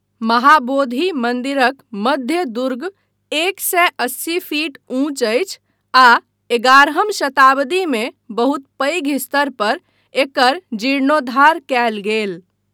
महाबोधि मन्दिरक मध्य दुर्ग एक सए अस्सी फीट ऊँच अछि आ एगारहम शताब्दीमे बहुत पैघ स्तर पर एकर जीर्णोद्धार कयल गेल।